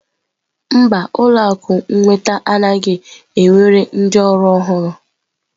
Mba, ụlọ akụ nnweta anaghị ewere ndị ọrụ ọhụrụ.